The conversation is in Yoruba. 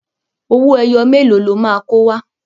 Owó ẹyọ mélòó lo máa kó wá?